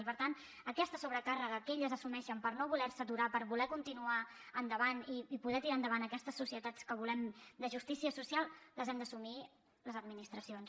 i per tant aquesta sobrecàrrega que elles assumeixen per no voler se aturar per voler continuar endavant i poder tirar endavant aquestes societats que volem de justícia social l’hem d’assumir les administracions